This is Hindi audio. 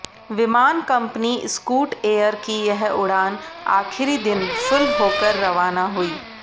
विमान कंपनी स्कूट एयर की यह उड़ान आखिरी दिन फुल होकर रवाना हुई